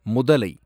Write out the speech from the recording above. முதலை